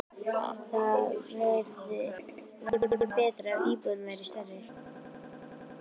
Það væri betra ef íbúðin væri stærri.